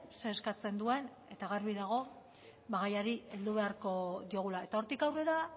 ze eskatzen duen eta garbi dago bada gaiari heldu beharko diogula eta hortik aurrera